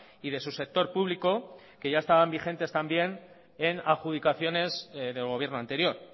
y de su sector público que ya estaban vigentes también en adjudicaciones del gobierno anterior